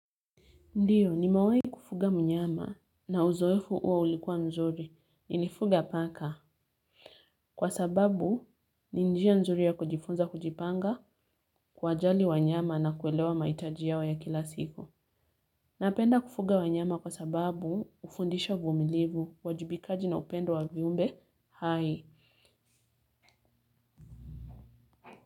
Ndiyo nimewahi kufuga mnyama na uzoefu huo ulikuwa nzuri nilifuga paka kwa sababu ni njia nzuri ya kujifunza kujipanga kuwajali wanyama na kuelewa mahitaji yao ya kila siku. Napenda kufuga wanyama kwa sababu ufundisha vumilivu, uwajibikaji na upendo wa viumbe, hai.